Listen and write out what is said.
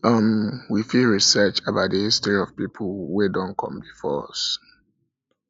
um we fit research about di history of pipo wey don come before us